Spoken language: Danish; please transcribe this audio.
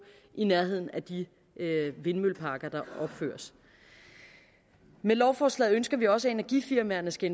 i nærheden af de vindmølleparker der opføres med lovforslaget ønsker vi også at energifirmaerne skal